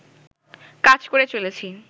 কাজ করে চলেছি